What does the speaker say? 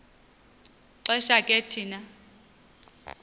xesha ke thina